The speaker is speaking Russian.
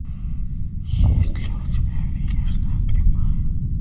есть ли у тебя финишная прямая